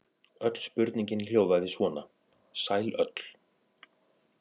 Öll spurningin hljóðaði svona: Sæl öll.